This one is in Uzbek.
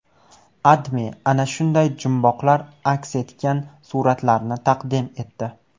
AdMe ana shunday jumboqlar aks etgan suratlarni taqdim etdi.